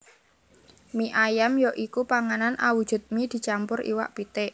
Mie ayam ya iku panganan awujud mie dicampur iwak pitik